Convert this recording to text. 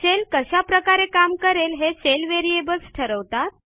shell कशा प्रकारे काम करेल हे शेल व्हेरिएबल्स ठरवतात